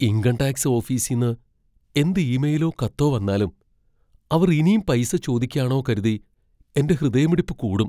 Income tax ഓഫീസിന്ന് എന്ത് ഇമെയിലോ കത്തോ വന്നാലും, അവർ ഇനീം പൈസ ചോദിക്ക്യാണോ കരുതി എന്റെ ഹൃദയമിടിപ്പ് കൂടും.